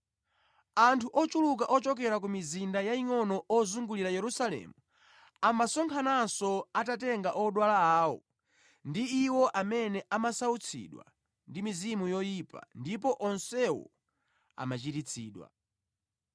Anthu ochuluka ochokera ku mizinda yayingʼono ozungulira Yerusalemu amasonkhananso atatenga odwala awo ndi iwo amene amasautsidwa ndi mizimu yoyipa ndipo onsewo amachiritsidwa.